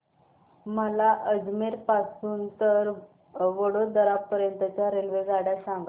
मला अजमेर पासून तर वडोदरा पर्यंत च्या रेल्वेगाड्या सांगा